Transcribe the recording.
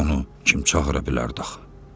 Onu kim çağıra bilərdi axı?